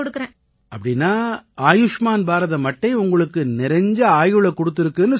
அப்படீன்னா ஆயுஷ்மான் பாரதம் அட்டை உங்களுக்கு நிறைஞ்ச ஆயுளைக் குடுத்திருக்குன்னு சொல்லுங்க